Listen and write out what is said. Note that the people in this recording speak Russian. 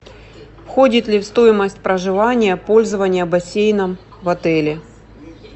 входит ли в стоимость проживания пользование бассейном в отеле